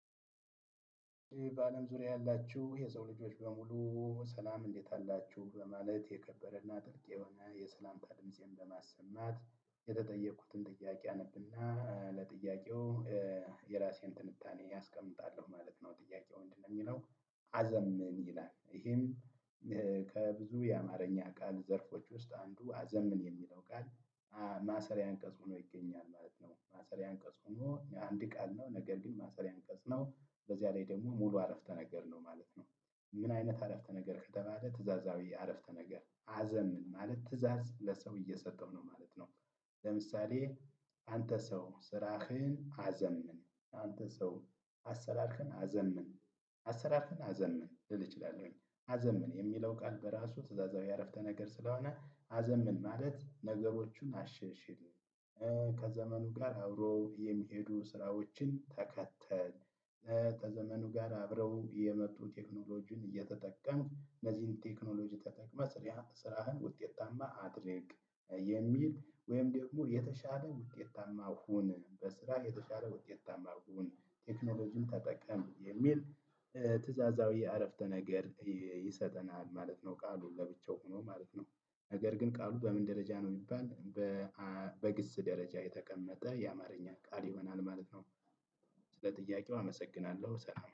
በአለም ዙሪያ ያላችሁ የሰው ልጆች በሙሉ ሰላም እንዴት አላችሁ በማለት የከበረና ጥልቅ የሆነ የሰላምታ ድምፄን በማሰማት የተጠየኩትን ጥያቄ አነብና ለጥያቄው የራሴን ትንታኔ አስቀምጣለሁ ማለት ነው። ጥያቄው ምድነው የሚለው? አዘምን ይላል ይሄም። ከብዙ የአማርኛ ቃል ዘርፎች ውስጥ አንዱ አዘምን የሚለው ቃል ማሰሪያ አንቀጽ ሆኖ ይገኛል ማለት ነው። ማሰሪያ አንቀጽ ሆኖ የአንድ ቃል ነው ነገር ግን ማሰሪያ አንቀጽ ነው በዚያ ላይ ደግሞ ሙሉ አረፍተ ነገር ነው ማለት ነው። ምን አይነት አረፍተ ነገር ከተባለ ትእዛዛዊ አረፍተ ነገር አዘምን ማለት ትእዛዝ ለሰው እየሰጠው ነው ማለት ነው። ለምሳሌ አንተ ሰው ስራህን አዘምን። አንተ ሰው አሰራርክን አዘምን። አሰራርክን አዘምን ልል እችላለሁኝ አዘምን የሚለው ቃል በራሱ ትእዛዛዊ አረፍተ ነገር ስለሆነ አዘምን ማለት ነገሮቹን አሻሽል። ከዘመኑ ጋር አብሮ የሚሄዱ ስራዎችን ተከተል ከዘመኑ ጋር አብረው የመጡ ቴክኖሎጂን እየተጠቀምክ እነዚህን ቴክኖሎጂ ተጠቅመህ ስራህን ውጤታማ አድርግ። የሚል ወይም ደግሞ የተሻለ ውጤታማ ሁን በስራ የተሻለ ውጤታማ ሁን ቴክኖሎጂን ተጠቀም የሚል ትእዛዛዊ አረፍተ ነገር ይሰጠናል ማለት ነው። ቃሉ ለብቻው ሆኖ ማለት ነው። ነገር ግን ቃሉ በምን ደረጃ ነው ቢባል? በግስ ደረጃ የተቀመጠ የአማርኛ ቃል ይሆናል ማለት ነው። ስለ ጥያቄው አመሰግናለሁ ሰላም